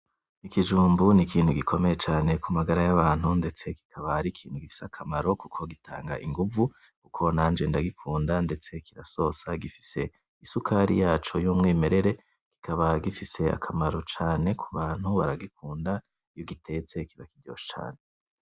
Ikijumbu n'ikintu gikomeye cane kumagara yabantu, ndetse kikaba ari ikintu gifise akamaro kuko gitanga ingumvu. Kuko nanje ndagikunda ndetse kirasosa. Gifise isukari yaco y'umwimerere, kikaba gifise akamaro cane kubantu baragikunda. Iyugitetse kiba kiryoshe cane.